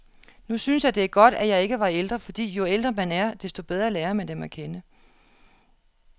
Nu synes jeg, det er godt, at jeg ikke var ældre, fordi jo ældre man er, desto bedre lærer man dem at kende.